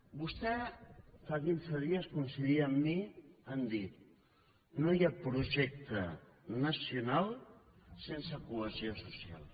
vostè fa quinze dies coincidia amb mi a dir no hi ha projecte nacional sense cohesió social